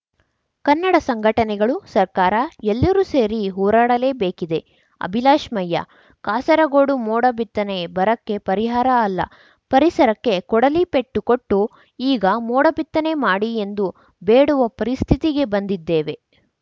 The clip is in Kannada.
ಕನ್ನಡ ಸಂಘಟನೆಗಳು ಸರ್ಕಾರ ಎಲ್ಲರೂ ಸೇರಿ ಹೋರಾಡಲೇಬೇಕಿದೆ ಅಭಿಲಾಷ್‌ ಮಯ್ಯಾ ಕಾಸರಗೋಡು ಮೋಡ ಬಿತ್ತನೆ ಬರಕ್ಕೆ ಪರಿಹಾರ ಅಲ್ಲ ಪರಿಸರಕ್ಕೆ ಕೊಡಲಿ ಪೆಟ್ಟು ಕೊಟ್ಟು ಈಗ ಮೋಡ ಬಿತ್ತನೆ ಮಾಡಿ ಎಂದು ಬೇಡುವ ಪರಿಸ್ಥಿತಿಗೆ ಬಂದಿದ್ದೇವೆ